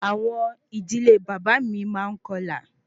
Awọn idile baba mi maa n kọlà